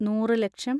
നൂറ് ലക്ഷം